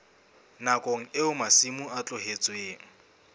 nakong eo masimo a tlohetsweng